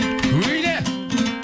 өй де